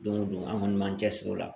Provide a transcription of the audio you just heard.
Don go don an kɔni m'an cɛsiri o la.